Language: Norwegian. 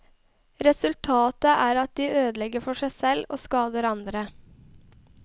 Resultatet er at de ødelegger for seg selv og skader andre.